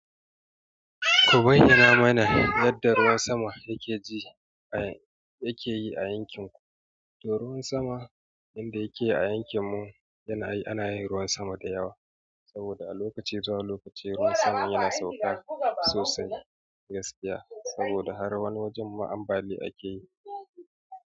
Ku bayyana mana yadda ruwan sama yake yi a yankin ku? To ruwan sama inda yake yi a yankin mu, ana yin ruwan sama da yawa. Saboda a lokaci tsahon lokacin ruwan sama yana sauka sosai gaskiya saboda har wani wajen ma ambaliya a ke yi.